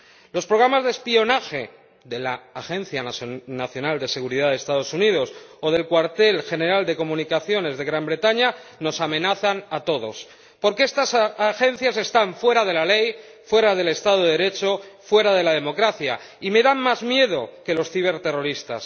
Los programas de espionaje de la Agencia Nacional de Seguridad de los Estados Unidos o del Cuartel General de Comunicaciones del Reino Unido, nos amenazan a todos porque estas agencias están fuera de la ley, fuera del Estado de Derecho, fuera de la democracia y me dan más miedo que los ciberterroristas.